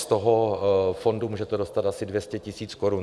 Z toho fondu můžete dostat asi 200 000 korun.